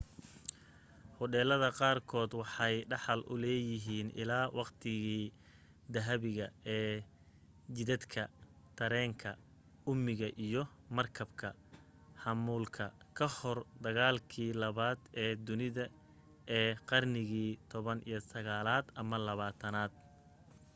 hodheelada qaar kood waxay dhaxal u leyihiin ilaa waqtigii dahabiga ee jidadka tareenka uumiga iyo markabka xamuulka kahor dagaalkii labaad ee dunida ee qarnigii 19aad ama 20aad